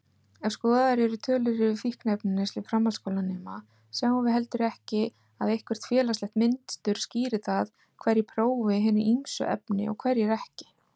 Ef skoðaðar eru tölur yfir fíkniefnaneyslu framhaldsskólanema sjáum við heldur ekki að eitthvert félagslegt mynstur skýri það hverjir prófi hin ýmsu efni og hverjir ekki.